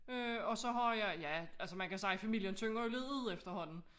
Øh og så har jeg ja altså man kan sige familien tynder jo lidt ud efterhånden